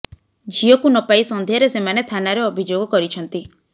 ଝିଅକୁ ନ ପାଇ ସନ୍ଧ୍ୟାରେ ସେମାନେ ଥାନାରେ ଅଭିଯୋଗ କରିଛନ୍ତି